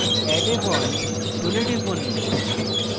add a bond tool টিপুন